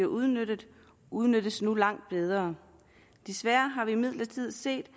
udnyttet udnyttes nu langt bedre desværre har vi imidlertid set at